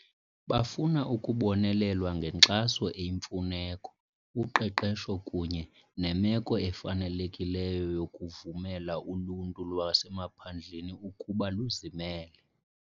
Bafuna ukubonelelwa ngenkxaso eyimfuneko, uqeqesho kunye nemeko efanelekileyo yokuvumela uluntu lwasemaphandleni ukuba luzimele.